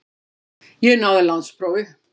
Ég náði landsprófi.